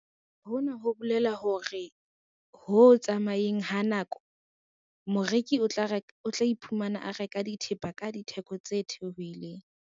Hona ho bolela hore ho tsamayeng ha nako moreki o tla iphumana a reka thepa ka ditheko tse theohileng.